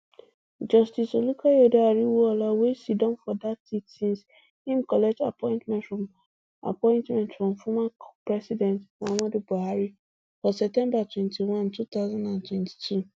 justice olukayode ariwoola wey siddon for dat seat since im collect appointment from appointment from former president muhammadu buhari for september twenty-one two thousand and twenty-two